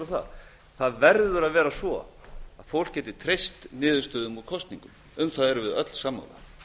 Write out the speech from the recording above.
það það verður að vera svo að fólk geti treyst niðurstöðum úr kosningum um það erum við öll sammála